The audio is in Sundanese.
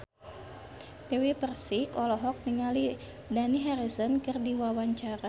Dewi Persik olohok ningali Dani Harrison keur diwawancara